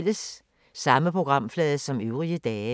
Samme programflade som øvrige dage